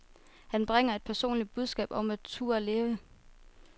Han bringer et personligt budskab om at turde leve.